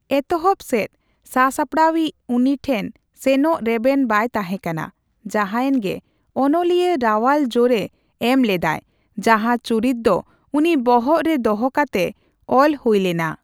ᱮᱛᱚᱦᱚᱵ ᱥᱮᱫ ᱥᱟᱥᱟᱯᱲᱟᱣᱤᱪ ᱩᱱᱤ ᱴᱷᱮᱱ ᱥᱮᱱᱚᱜ ᱨᱮᱵᱮᱱ ᱵᱟᱭ ᱛᱟᱦᱮᱸ ᱠᱟᱱᱟ, ᱡᱟᱦᱟᱭᱮᱱᱜᱮ, ᱚᱱᱚᱞᱤᱭᱟᱹ ᱨᱟᱣᱟᱞ ᱡᱳᱨᱮ ᱮᱢᱞᱮᱫᱟᱭ ᱡᱟᱦᱟᱸ ᱪᱩᱨᱤᱛ ᱫᱚ ᱩᱱᱤ ᱵᱚᱦᱚᱜᱨᱮ ᱫᱚᱦᱚ ᱠᱟᱛᱮ ᱚᱞ ᱦᱩᱭᱞᱮᱱᱟ ᱾